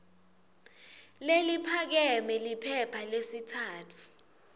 leliphakeme liphepha lesitsatfu